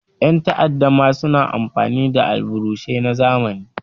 Ƴan ta'adda ma sna amfani da alburusai na zamani.